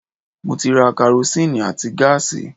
Mo ti ra karosín àti gáàsì